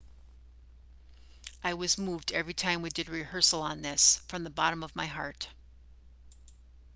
i was moved every time we did a rehearsal on this from the bottom of my heart